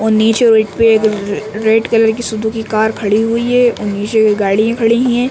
और नीचे red colour की सुजुकी कार खड़ी हुई है और नीचे गाड़ियां खड़ी हैं ।